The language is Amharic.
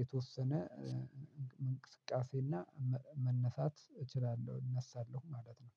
የተወሰነ እንቅስቃሴና መነሳት እችላለሁ። እነሳለሁ ማለት ነው።